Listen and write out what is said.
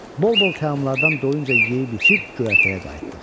Bol-bol təamlaradan doyunca yeyib-içib göyərtəyə qayıtdıq.